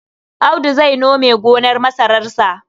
Audu zai nome gonar masararsa.